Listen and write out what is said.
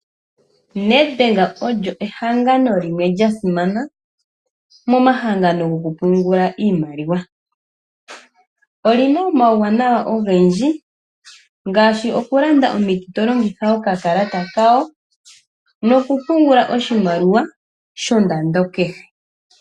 Nedbank olyo ehangano limwe lya simana momahangano gokupungula iimaliwa. Oli na omauwanawa ogendji ngaashi okulanda omiti to longitha okakala kawo nokupungula oshimaliwa shomwaalu kehe.